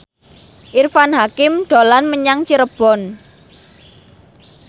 Irfan Hakim dolan menyang Cirebon